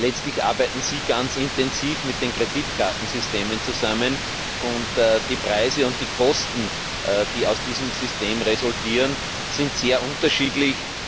Letztlich arbeiten sie ganz intensiv mit den Kreditkartensystemen zusammen, und die Preise und die Kosten, die aus diesen Systemen resultieren, sind sehr unterschiedlich.